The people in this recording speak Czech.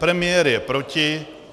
Premiér je proti.